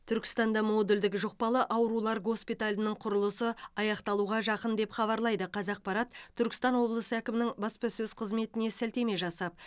түркістанда модульдік жұқпалы аурулар госпиталінің құрылысы аяқталуға жақын деп хабарлайды қазақпарат түркістан облысы әкімінің баспасөз қызметіне сілтеме жасап